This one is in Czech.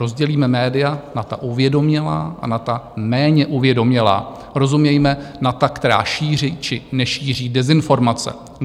Rozdělíme média na ta uvědomělá a na ta méně uvědomělá - rozumějme na ta, která šíří, či nešíří dezinformace.